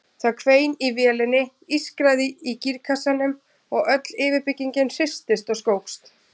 Það hvein í vélinni, ískraði í gírkassanum og öll yfirbyggingin hristist og skókst.